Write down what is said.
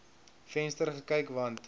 venster gekyk want